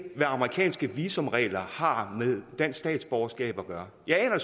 hvad amerikanske visumregler har med dansk statsborgerskab at gøre jeg aner